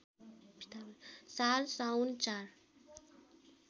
साल साउन ४